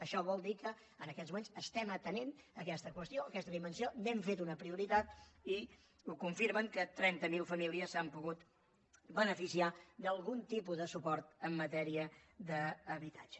això vol dir que en aquests moments estem atenent aquesta qüestió aquesta dimensió n’hem fet una prioritat i ho confirma que trenta mil famílies s’han pogut beneficiar d’algun tipus de suport en matèria d’habitatge